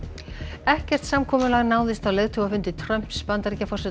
ekkert samkomulag náðist á leiðtogafundi Trumps Bandaríkjaforseta